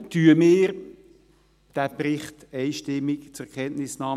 Warum empfehlen wir den Bericht einstimmig zur Kenntnisnahme?